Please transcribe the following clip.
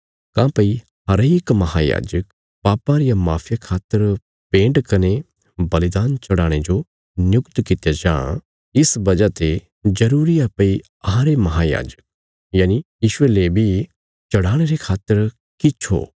काँह्भई हरेक महायाजक पापां रिया माफिया खातर भेंट कने बलिदान चढ़ाणे जो नियुक्त कित्या जां इस वजह ते जरूरी आ भई अहांरे महांयाजक यीशुये ले बी चढ़ाणे रे खातर किछ हो